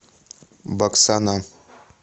баксана